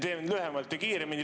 Hästi, teen lühemalt ja kiiremini.